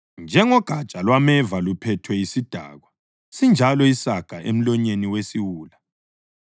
Njengogatsha lwameva luphethwe yisidakwa sinjalo isaga emlonyeni wesiwula.